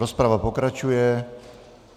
Rozprava pokračuje.